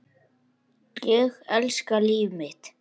Ég elska líf mitt.